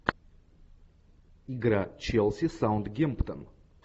игра челси саутгемптон